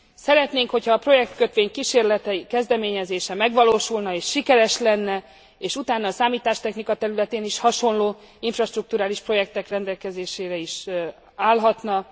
Szeretnénk, hogy ha a projektkötvény kísérletei, kezdeményezése megvalósulna és sikeres lenne, és utána a számítástechnika területén is hasonló infrastrukturális projektek rendelkezésére is állhatna.